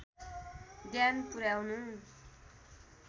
ध्यान पुर्‍याउनु